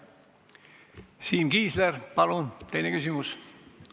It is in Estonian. Siim Kiisler, palun, teine küsimus!